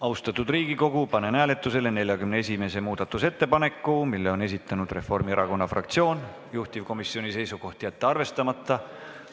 Austatud Riigikogu, panen hääletusele 41. muudatusettepaneku, mille on esitanud Reformierakonna fraktsioon, juhtivkomisjoni seisukoht: jätta see arvestamata.